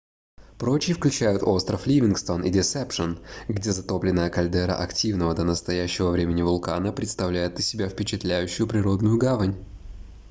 прочие включают остров ливингстон и десепшен где затопленная кальдера активного до настоящего времени вулкана представляет из себя впечатляющую природную гавань